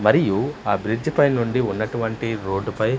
మరియు ఆ బ్రిడ్జ్ పై నుండి ఉన్నటువంటి రోడ్డుపై --